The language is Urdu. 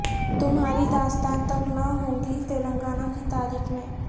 تمہاری داستان تک نہ ہوگی تلنگانہ کی تاریخ میں